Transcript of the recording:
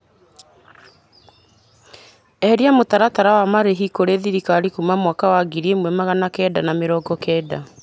Eheria mũtaratara wa marĩhi kurĩ thirikari kuma mwaka wa ngiri ĩmwe magana kenda ma mĩrongo kenda.